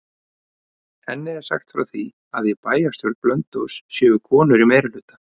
Henni er sagt frá því að í bæjarstjórn Blönduóss séu konur í meirihluta.